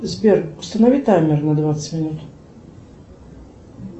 сбер установи таймер на двадцать минут